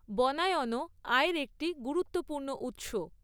বনায়নও আয়ের একটি গুরুত্বপূর্ণ উৎস।